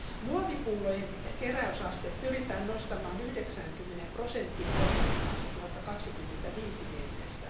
Muovipullojen keräysaste pyritään nostamaan 90 prosenttiin vuoteen 2025 mennessä.